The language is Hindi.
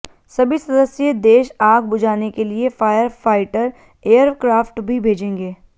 सभी सदस्य देश आग बुझाने के लिए फायर फाइटर एयरक्राफ्ट भी भेजेंगे